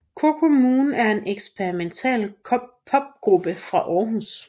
Coco Moon er en eksperimental popgruppe fra Århus